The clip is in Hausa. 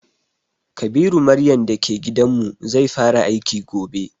Kabiru maryan da ke gidan mu, zai fara aiki gobe.